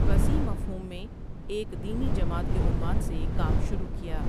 وسیع مفہوم میں ایک دینی جماعت کے عنوان سےکام شروع کیا ۔